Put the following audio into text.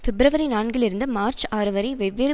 பிப்ரவரி நான்கில் இருந்து மார்ச் ஆறு வரை வெவ்வேறு